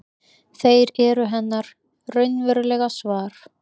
Þeir eru hennar raunverulega svar.